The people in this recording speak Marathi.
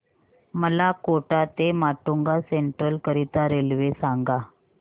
मला कोटा ते माटुंगा सेंट्रल करीता रेल्वे सांगा